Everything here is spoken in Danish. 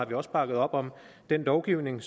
vi også op om den lovgivning